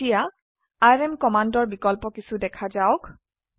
এতিয়া আৰএম কমান্ডৰ বিকল্প কিছো দেখা যাওক